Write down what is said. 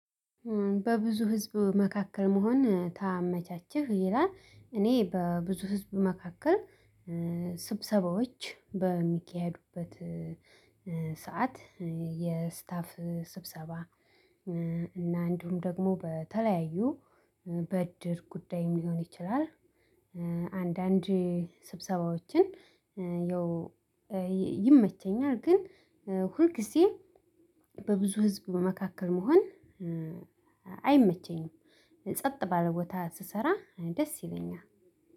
በብዙ ህዝብ መካከል መሆን ታመቻቸህ ይላል እኔ በብዙ ህዝብ መካከል ስብሰባዎች በሚካሄዱበት ሰዓት የስታፍ ስብሰባ እና እንዲሁም ደግሞ በተለያዩ በድር ጉዳይም ሊሆን ይችላል አንዳንድ ስብሰባዎችን ያው ይመቸኛል ግን ሁልጊዜም በብዙ ህዝብ መካከል መሆን አይመቸኝም ጸጥ ባለቦታ ስሰራ ደስ ይለኛል።